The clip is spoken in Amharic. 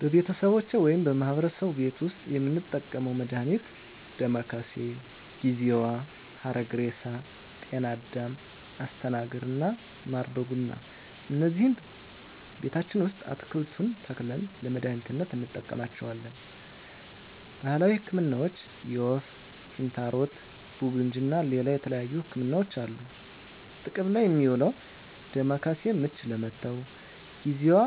በቤተሰቦቼ ወይም በማህበረሰቡ ቤት ዉስጥ የምንጠቀመዉ መድሃኒት ዳማከሴ፣ ጊዜዋ፣ ሀረግሬሳ፣ ጤናአዳም፣ አስተናግር እና ማር በቡና እነዚህን ቤታችን ዉስጥ አትክልቱን ተክለን ለመድሃኒትነት እንጠቀማቸዋለን። ባህላዊ ህክምናዎች የወፍ፣ ኪንታሮት፣ ቡግንጂ እና ሌላ የተለያዩ ህክምናዎች አሉ። ጥቅም ላይ እሚዉለዉ ዳማከሴ፦ ምች ለመታዉ፣ ጊዜዋ